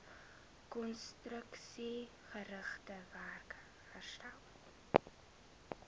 konstruksiegerigte werk herstel